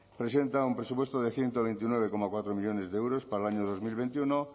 presenta un presupuesto de ciento veintinueve coma cuatro millónes de euros para el año dos mil veintiuno